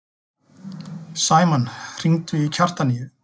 Sæmann, hringdu í Kjartaníu.